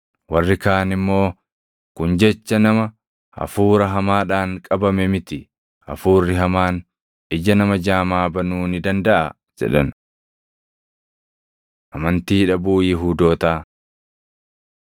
Warri kaan immoo, “Kun jecha nama hafuura hamaadhaan qabame miti. Hafuurri hamaan ija nama jaamaa banuu ni dandaʼaa?” jedhan. Amantii Dhabuu Yihuudootaa